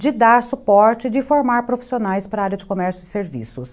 de dar suporte, de formar profissionais para a área de comércio e serviços.